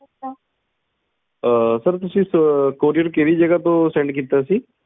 ਅਹ ਤੁਸੀਂ courier ਕਿਹੜੀ ਜਗਾਹ ਤੋਂ send ਕੀਤਾ ਸੀ